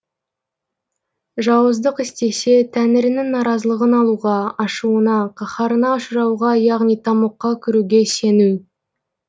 жауыздық істесе тәңірінің наразылығын алуға ашуына қаһарына ұшырауға яғни тамұққа кіруге сену